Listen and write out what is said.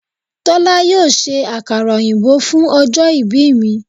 Tólá yóò se àkàrà òyìnbó fún ojó ibí mi